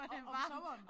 Det varmt